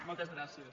moltes gràcies